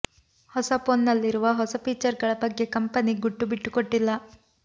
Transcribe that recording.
ಹೊಸ ಫೋನ್ ನಲ್ಲಿರುವ ಹೊಸ ಫೀಚರ್ ಗಳ ಬಗ್ಗೆ ಕಂಪನಿ ಗುಟ್ಟು ಬಿಟ್ಟುಕೊಟ್ಟಿಲ್ಲ